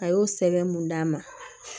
A y'o sɛbɛn mun d'a ma